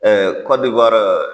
Kɔdiwara